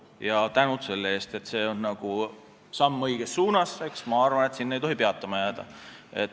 Suur tänu selle eest, see on samm õiges suunas ja ma arvan, et sellele ei tohi peatuma jääda.